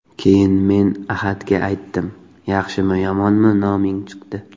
Keyin men Ahadga aytdim, ‘Yaxshimi, yomonmi noming chiqdi.